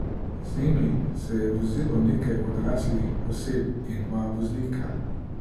Z njimi se je vozilo nekaj odraslih oseb in dva voznika.